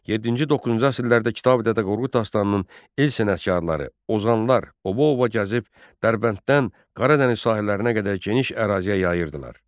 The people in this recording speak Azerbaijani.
7-ci, 9-cu əsrlərdə Kitabi-Dədə Qorqud dastanının el sənətkarları, ozanlar obadan-obaya gəzib Dərbənddən Qara Dəniz sahillərinə qədər geniş əraziyə yayırdılar.